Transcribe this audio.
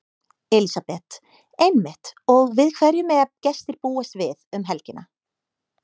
Elísabet: Einmitt og við hverju mega gestir búast við um helgina?